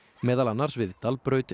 meðal annars við Dalbraut